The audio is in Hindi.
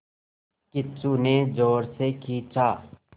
किच्चू ने ज़ोर से खींचा